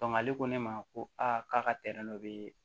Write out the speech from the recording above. ale ko ne ma ko a k'a ka dɔ bɛ yen